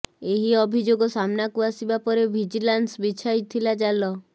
ଏହି ଅଭିଯୋଗ ସାମ୍ନାକୁ ଆସିବା ପରେ ଭିଜିଲାନ୍ସ ବିଛାଇଥିଲା ଜାଲ